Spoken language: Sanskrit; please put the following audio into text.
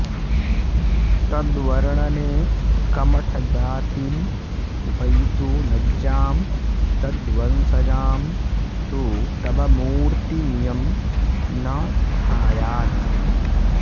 तद्वर्णने कमठजातिमुपैतु लज्जां तद्वंशजां तु तव मूर्ति मियं न थायात्